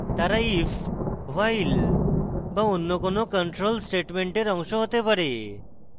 তারা if while be অন্য কোনো control স্টেটমেন্টের অংশ they পারে